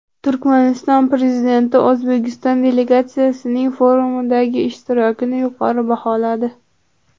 Turkmaniston prezidenti O‘zbekiston delegatsiyasining forumdagi ishtirokini yuqori baholadi.